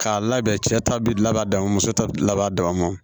K'a labɛn cɛ ta bɛ laban dama muso ta bɛ laban dama